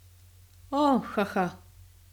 O, ha ha.